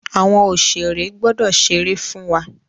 Àwọn oṣèré gbọdọ̀ ṣeré fún wa.